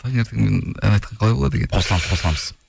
таңертеңнен ән айтқан қалай болады екен қосыламыз қосыламыз